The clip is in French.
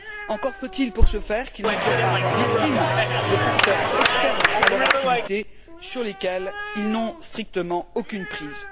Encore faut il pour ce faire qu'ils ne soient pas victimes de facteurs externes à leur activité sur lesquels ils n'ont strictement aucune prise.